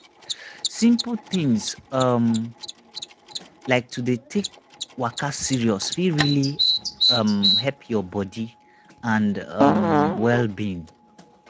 simple things um like to dey take waka serious fit really um help your body and um wellbeing.